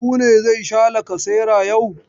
Habu ne zai sha lkasera yau.